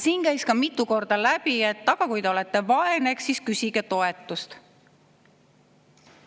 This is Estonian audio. Siin käis mitu korda läbi, et kui te olete vaene, eks siis küsige toetust.